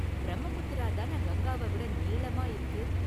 பிரம்மபுத்திரா தான கங்காவ விட​ நீளமா இருக்கு.